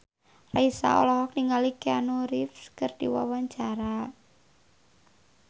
Raisa olohok ningali Keanu Reeves keur diwawancara